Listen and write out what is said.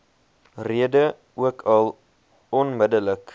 rede ookal onmiddellik